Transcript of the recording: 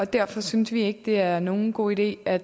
derfor synes vi ikke at det er nogen god idé at